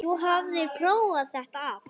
Þú hafðir prófað þetta allt.